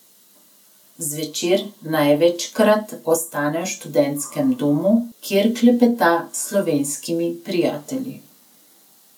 Zvečer največkrat ostane v študentskem domu, kjer klepeta s slovenskimi prijatelji.